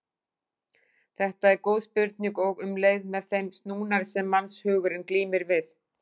Þetta er góð spurning og um leið með þeim snúnari sem mannshugurinn glímir við.